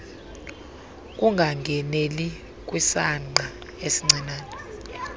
ukungangeneli kwisangqa esincinane